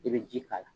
I bɛ ji k'a la